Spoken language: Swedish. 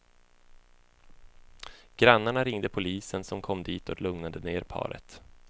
Grannarna ringde polisen som kom dit och lugnade ner paret.